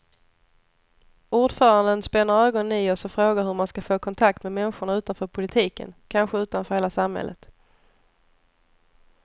Ordföranden spänner ögonen i oss och frågar hur man ska få kontakt med människorna utanför politiken, kanske utanför hela samhället.